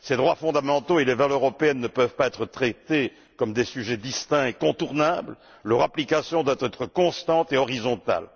Ces droits fondamentaux et les valeurs européennes ne peuvent pas être traités comme des sujets distincts et contournables. Leur application doit être constante et horizontale.